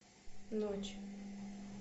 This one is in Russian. ночь